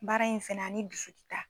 Baara in fɛnɛ ani dusu ti taa